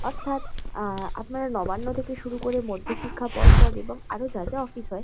অর্থাৎ আ আপনারা নবান্ন থেকে শুরু করে মধ্যশিক্ষা পর্ষদ এবং আরো যা যা অফিস হয়।